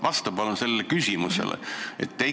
Vasta palun sellele küsimusele!